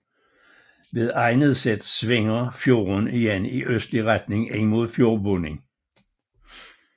Ved Eidneset svinger fjorden igen i østlig retning ind mod fjordbunden